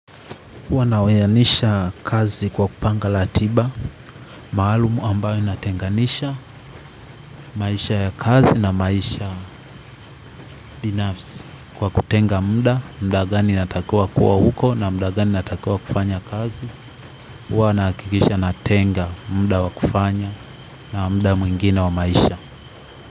Wanaweyanisha kazi kwa kupanga latiba maalumu ambayo inatenganisha maisha ya kazi na maisha binafsi. Kwa kutenga muda muda gani inatakua kuwa huko na muda gani inatakiwa kufanya kazi huwanahakikisha natenga muda wa kufanya na muda mwngine wa maisha.